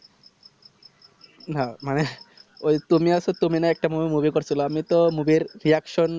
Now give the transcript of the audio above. না মানে ওই তুমি আছো তুমি না একটা বার মনে করছিলা আমি তো movie এর reaction